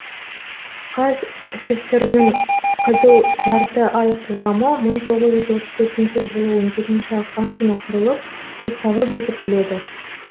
қазсср ның қызыл жарты ай қоғамы мың тоғыз жүз отыз төртінші жылы он жетінші ақпан күні құрылып уставы бекітіледі